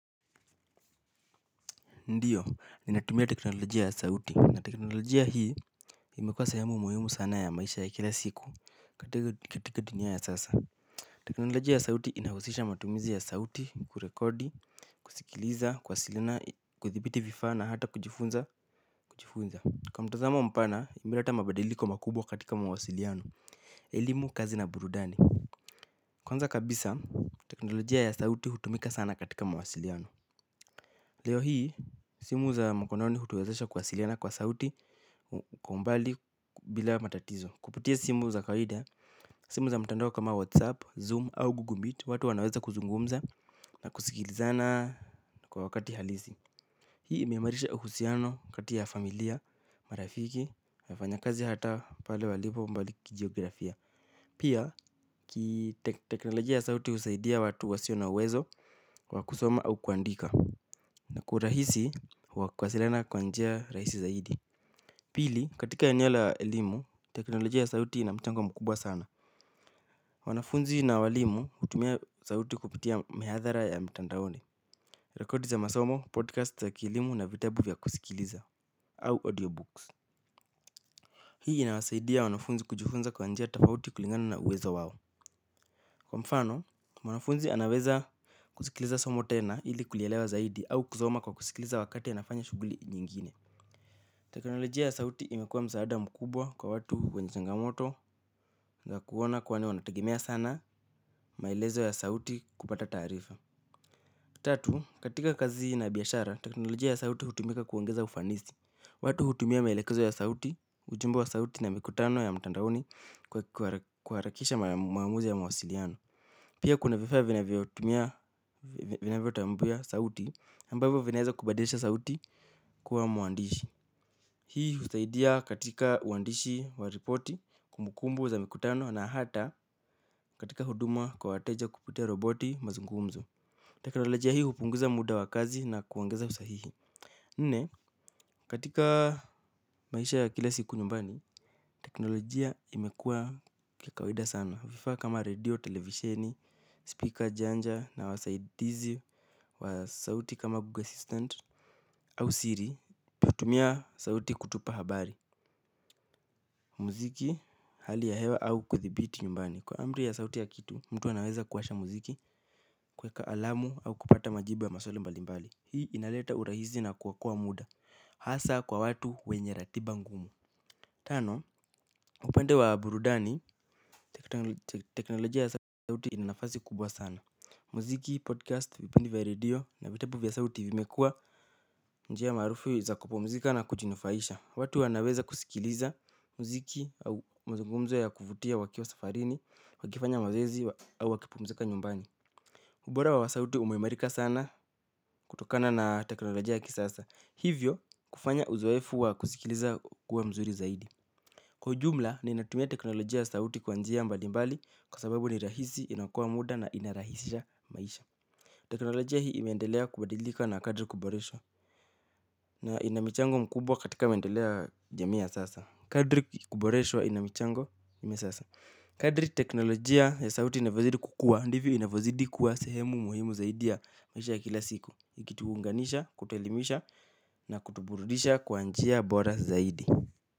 Ndiyo, ninatumia teknolojia ya sauti na teknolojia hii imekua sehemu muhimu sana ya maisha ya kila siku katika dunia ya sasa. Teknolojia ya sauti inahusisha matumizi ya sauti, kurekodi, kusikiliza, kwasilina, kuthibiti vifa na hata kujifunza, jifunza. Kwa mtazamo mpana, imileta mabadiliko makubwa katika mawasiliano, elimu, kazi na burudani. Kwanza kabisa, teknolojia ya sauti hutumika sana katika mawasiliano. Leo hii, simu za mkononi hutowezesha kuwasiliana kwa sauti kwa umbali bila matatizo. Kupitia simu za kaida, simu za mtandao kama WhatsApp, Zoom au Google Meet, watu wanaweza kuzungumza na kusikilizana kwa wakati halisi. Hii imeamarisha uhusiano kati ya familia, marafiki, wafanya kazi hata pale walipo mbali kijiografia. Pia, kiteknolojia ya sauti husaidia watu wasio na wezo wa kusoma au kuandika. Na kurahisi wa kuasiliana kwa njia rahisi zaidi. Pili, katika eneo la elimu, teknolojia ya sauti ina mchango mkubwa sana. Wanafunzi na walimu hutumia sauti kupitia mihathara ya mtandaoni. Rekodi za masomo, podcast za kielimu na vitabu vya kusikiliza au audiobooks. Hii inawasaidia wanafunzi kujifunza kwa njia tafauti kulingana na uwezo wao. Kwa mfano, wanafunzi anaweza kusikiliza somo tena ili kulielewa zaidi au kusoma kwa kusikiliza wakati ya nafanya shuguli nyingine. Teknolojia ya sauti imekuwa msaada mkubwa kwa watu wenye changamoto za kuona kwani wanategemea sana maelezo ya sauti kupata taarifa. Tatu, katika kazi na biashara, teknolojia ya sauti hutumika kuongeza ufanisi. Watu hutumia maelekezo ya sauti, ujumbe wa sauti na mikutano ya mtandaoni kuharakisha maamuzi ya mawasiliano. Pia kuna vifaa vinavyo tumia vinavyo taambua sauti ambavyo vinaweza kubadilisha sauti kuwa muandishi. Hii husaidia katika uandishi wa ripoti kumbukumbu za mikutano na hata katika huduma kwa wateja kupitia roboti mazungumzo. Teknolojia hii upunguza muda wa kazi na kuongeza usahihi. Nne, katika maisha ya kila siku nyumbani, teknolojia imekua kikawaida sana. Vifaa kama redio, televisheni, speaker janja na wasaidizi wa sauti kama Google Assistant. Au siri, utatumia sauti kutupa habari, muziki, hali ya hewa au kuthibiti nyumbani kwa amri ya sauti ya kitu, mtu wanaweza kuwasha muziki kweka alamu au kupata majibu ya maswali mbali mbali. Hii inaleta urahisi na kuokoa muda. Hasaa kwa watu wenye ratiba ngumu. Tano, upende wa burudani, teknolojia ya sauti inanafazi kubwa sana muziki, podcast, vipendi vya radio, na vitabu vya sauti vimekua njia maarufu za kupumzika na kujinufaisha. Watu wanaweza kusikiliza mziki au mzungumzo ya kuvutia wakiwa safarini, wakifanya mazezi au wakipumzika nyumbani. Ubora wa sauti umeimarika sana kutokana na teknolojia ya kisasa. Hivyo kufanya uzaefu wa kusikiliza ukue mzuri zaidi. Kwa ujumla ninatumia teknolojia ya sauti kwa njia mbali mbali kwa sababu ni rahisi, inaokoa muda na inarahisisha maisha. Teknolojia hii imeendelea kubadilika na kadri kuboreshwa na ina michango mkubwa katika mendeleo ya jamii ya sasa. Kadri kuboreswa ina michango nne sasa. Kadri teknolojia ya sauti inavyozidi kukua, ndivyo inavyozidi kuwa sehemu muhimu zaidi ya maisha ya kila siku. Ikituunganisha, kutuelimisha na kutuburudisha kwanjia bora zaidi.